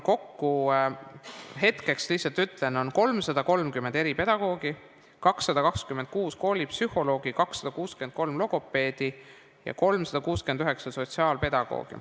Kokku, lihtsalt ütlen, on 330 eripedagoogi, 226 koolipsühholoogi, 263 logopeedi ja 369 sotsiaalpedagoogi.